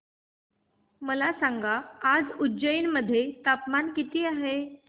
मला सांगा आज उज्जैन मध्ये तापमान किती आहे